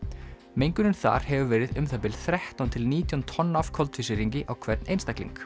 mengunin þar hefur verið um það bil þrettán til nítján tonn af koltvísýringi á hvern einstakling